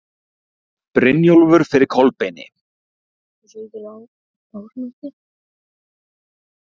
Brynjólfur fyrir Kolbeini.